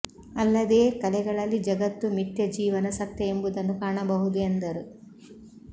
ಅಲ್ಲದೇ ಕಲೆಗಳಲ್ಲಿ ಜಗತ್ತು ಮಿಥ್ಯ ಜೀವನ ಸತ್ಯ ಎಂಬುದನ್ನು ಕಾಣಬಹುದು ಎಂದರು